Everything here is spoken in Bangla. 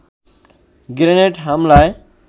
গ্রেনেড হামলায়